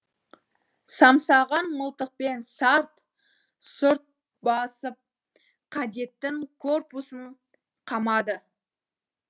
самсаған мылтықпен сарт сұрт басып кадеттің корпусын қамады